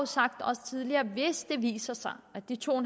sagt også tidligere at hvis det viser sig at de to